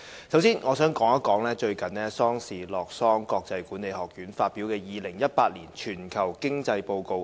首先，我想說說最近瑞士洛桑國際管理發展學院發表的《2018年全球經濟報告》。